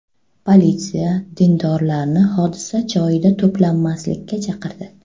Politsiya dindorlarni hodisa joyida to‘planmaslikka chaqirdi.